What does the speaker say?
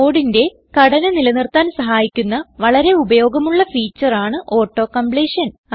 കോഡിന്റെ ഘടന നില നിർത്താൻ സഹായിക്കുന്ന വളരെ ഉപയോഗമുള്ള ഫീച്ചർ ആണ് auto കംപ്ലീഷൻ